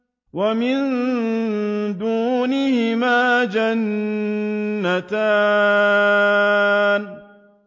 وَمِن دُونِهِمَا جَنَّتَانِ